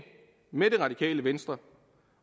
med det radikale venstre